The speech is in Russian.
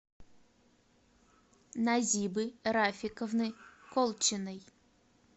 назибы рафиковны колчиной